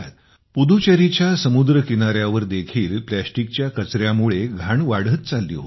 पुदुचेरीच्या समुद्र किनाऱ्यावर देखील प्लॅस्टिकच्या कचऱ्यामुळे घाण वाढत चालली होती